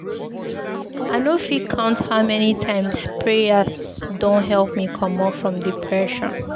I no fit count how many times prayer don help me comot from depression.